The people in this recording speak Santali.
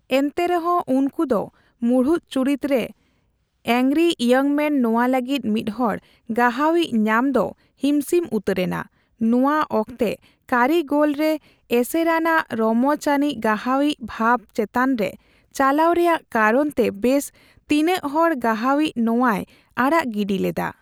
ᱮᱱᱛᱮᱨᱮᱦᱚᱸ, ᱩᱱᱠᱩᱫᱚ ᱢᱩᱲᱩᱫ ᱪᱩᱨᱤᱛ ᱨᱮ ᱮᱝᱜᱟᱨᱤ ᱤᱭᱳᱝ ᱢᱮᱱ ᱱᱚᱣᱟ ᱞᱟᱹᱜᱤᱫ ᱢᱤᱫᱦᱚᱲ ᱜᱟᱦᱟᱣ ᱤᱪ ᱧᱟᱢ ᱫᱚ ᱦᱤᱢᱥᱤᱢ ᱩᱛᱟᱹᱨᱮᱱᱟ; ᱱᱚᱣᱟ ᱚᱠᱛᱮ ᱠᱟᱹᱨᱤᱜᱚᱞ ᱨᱮ ᱮᱥᱮᱨᱟᱱᱟᱜ ᱨᱚᱢᱚᱪ ᱟᱱᱤᱪ ᱜᱟᱦᱟᱭᱤᱪ ᱵᱷᱟᱵ ᱪᱮᱛᱟᱱᱨᱮ ᱪᱟᱞᱟᱣ ᱨᱮᱭᱟᱜ ᱠᱟᱨᱚᱱ ᱛᱮ ᱵᱮᱥ ᱛᱤᱱᱟᱹᱜᱦᱚᱲ ᱜᱟᱦᱟᱣᱤᱪ ᱱᱚᱣᱟᱭ ᱟᱲᱟᱜ ᱜᱤᱰᱤ ᱞᱮᱫᱟ ᱾